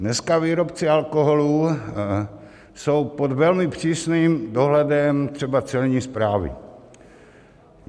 Dneska výrobci alkoholu jsou pod velmi přísným dohledem, třeba celní správy.